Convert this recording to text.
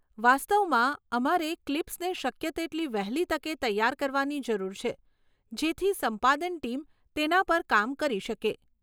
વાસ્તવમાં અમારે ક્લિપ્સને શક્ય તેટલી વહેલી તકે તૈયાર કરવાની જરૂર છે, જેથી સંપાદન ટીમ તેના પર કામ કરી શકે.